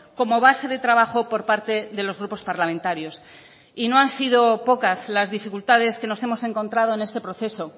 como base de trabajo por parte de los grupos parlamentarios y no han sido pocas las dificultades que nos hemos encontrado en este proceso